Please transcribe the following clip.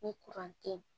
Ni tɛ yen